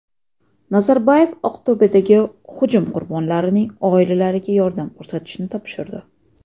Nazarboyev Aqto‘bedagi hujum qurbonlarining oilalariga yordam ko‘rsatishni topshirdi.